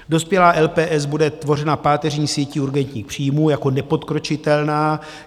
Dospělá LPS bude tvořena páteřní sítí urgentních příjmů jako nepodkročitelná.